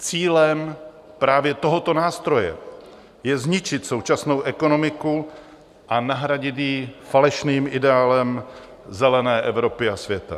Cílem právě tohoto nástroje je zničit současnou ekonomiku a nahradit ji falešným ideálem zelené Evropy a světa.